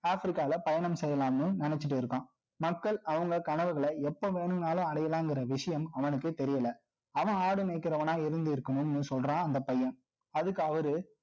Africaல பயணம் செய்யலாம்ன்னு, நினைச்சுட்டு இருக்கோம். மக்கள், அவங்க கனவுகளை, எப்ப வேணும்னாலும், அடையலாம்ங்கிற விஷயம், அவனுக்கு தெரியல அவன் ஆடு மேய்க்கிறவனா, இருந்து இருக்கணும்ன்னு சொல்றான் அந்த பையன். அதுக்கு அவரு